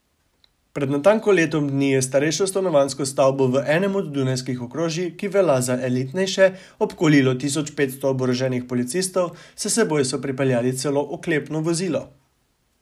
Pred natanko letom dni je starejšo stanovanjsko stavbo v enem od dunajskih okrožij, ki velja za elitnejše, obkolilo tisoč petsto oboroženih policistov, s seboj so pripeljali celo oklepno vozilo.